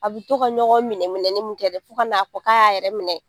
A bi tɔ ka ɲɔgɔn minɛ minɛ ni mun kɛ dɛ, fo ka na fɔ ka y'a yɛrɛ minɛ